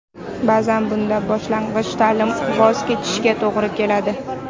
Ba’zan bunda boshlang‘ich ta’limdan voz kechishga to‘g‘ri keladi.